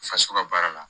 Faso ka baara la